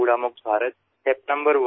পৰ্যায় ১ আৱৰ্জনামুক্ত ভাৰত